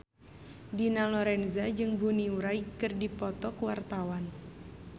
Dina Lorenza jeung Bonnie Wright keur dipoto ku wartawan